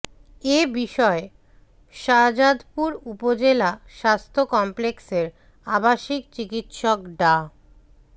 এ বিষয়ে শাহজাদপুর উপজেলা স্বাস্থ্য কমপ্লেক্সের আবাসিক চিকিৎসক ডা